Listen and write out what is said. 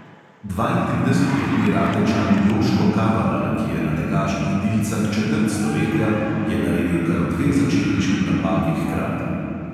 Dvaintridesetletni ratečan joško kavalar, ki je na tekaških dilcah četrt stoletja, je naredil kar dve začetniški napaki hkrati.